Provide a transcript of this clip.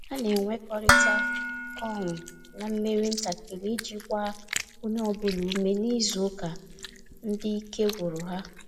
Ha na enwekọrita ọṅụ na mmeri ntakịrị iji gbaa onye ọbụla ume n'izu ụka ndị ike gwụrụ ha